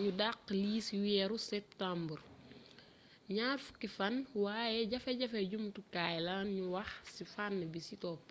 ñu daxx lii ci wééru septumbar ñaar fukki fan wayé jafejafe jumtukaay la ñu wax ci fan bisi topp